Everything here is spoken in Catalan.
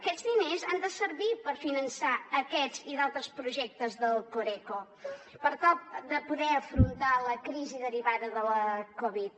aquests diners han de servir per finançar aquests i d’altres projectes de la coreco per tal de poder afrontar la crisi derivada de la covid